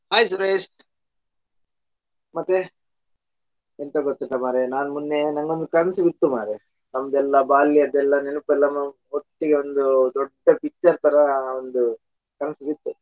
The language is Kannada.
Hai ಸುರೇಶ್. ಮತ್ತೆ ಎಂತ ಗೊತ್ತುಂಟಾ ಮಾರಾಯಾ ನಾನ್ ಮೊನ್ನೆ ನನಗೊಂದು ಕನಸು ಬಿತ್ತು ಮಾರಾಯಾ ನಮ್ದು ಎಲ್ಲ ಬಾಲ್ಯದೆಲ್ಲಾ ನೆನಪೆಲ್ಲ ಒಟ್ಟಿಗೆ ಒಂದು ದೊಡ್ಡ picture ತರಾ ಒಂದು ಕನಸು ಬಿತ್ತು .